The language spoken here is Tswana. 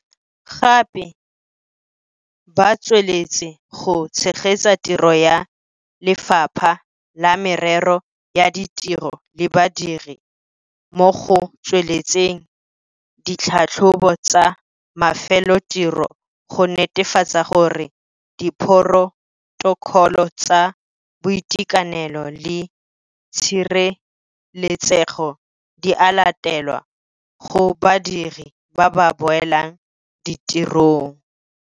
Gape, ba tsweletse go tshegetsa tiro ya Lefapha la Merero ya Ditiro le Badiri mo go tsweletseng ditlhatlhobo tsa mafelotiro go netefatsa gore diphorotokholo tsa boitekanelo le tshireletsego di a latelwa go badiri ba ba boelang ditirong.